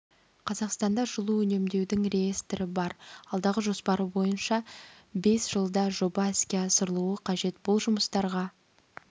қазақстанда жылу үнемдеудің реестрі бар алдағы жоспар бойынша бес жылда жоба іске асырылуы қажет бұл жұмыстарға